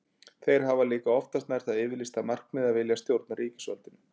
Þeir hafa líka oftast nær það yfirlýsta markmið að vilja stjórna ríkisvaldinu.